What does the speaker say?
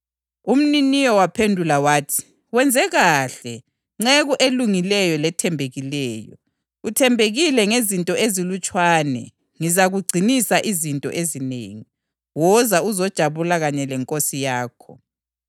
Umniniyo waphendula wathi, ‘Wenze kuhle, nceku elungileyo lethembekileyo! Uthembekile ngezinto ezilutshwane; ngizakugcinisa izinto ezinengi. Woza uzojabula kanye lenkosi yakho!’